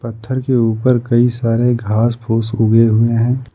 पत्थर के ऊपर कई सारे घास फूस हुए हैं।